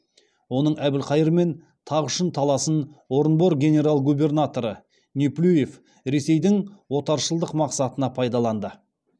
оның әбілқайырмен тақ үшін таласын орынбор генерал губернаторы неплюев ресейдің отаршылдық мақсатына пайдаланды